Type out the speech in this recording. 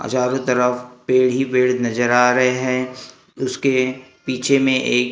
हजारों तरफ पेड़ ही पेड़ नजर आ रहे हैं उसके पीछे में एक--